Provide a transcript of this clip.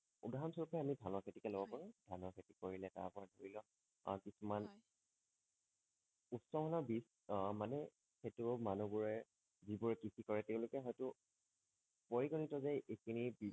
উদাহৰণ স্বৰূপে আমি ধানৰ খেতিকে লব হয় পাৰো ধানৰ খেতি কৰিলে তাৰ পৰা ধৰি লোৱা আহ কিছুমান হয় উৎমানৰ বিজ আহ মানে সেইটো মানুহ বোৰে যিবোৰে কৃষি কৰে তেওঁলোকে হয়টো পৰিগণিত যে এই খিনি